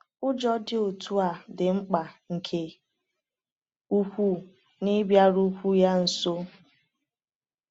Ụjọ dị otu a dị mkpa nke ukwuu n’ịbịarukwuo ya nso.